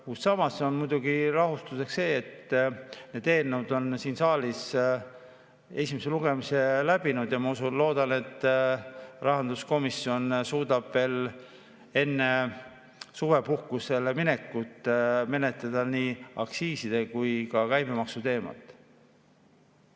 Kuid samas muidugi rahustab see, et need eelnõud on siin saalis esimese lugemise läbinud, ja ma loodan, et rahanduskomisjon suudab veel enne suvepuhkusele minekut menetleda nii aktsiiside kui ka käibemaksu teemat.